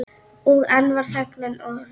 Og enn var þögnin rofin.